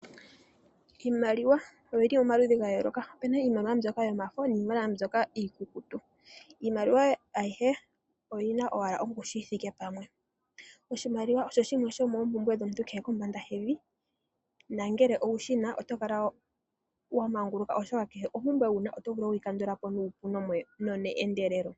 Iimaliwa oyili omaludhi ga yooloka .opena iimaliwa mbyoka yomafo niimaliwa mbyoka iikukutu . Iimaliwa ayihe oyina owala ongushu yithike pamwe . Oshimaliwa osho shimwe shomoompumbwe dhomuntu kehe eli kombanda yevi nangele owushina otokala wa manguluka oshoka kehe ompumbwe wuna otovulu okuyi kandulapo nuupu no ne endelelo